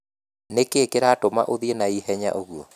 Nĩ kĩĩ kĩratũma ũthiĩ na ihenya ũguo?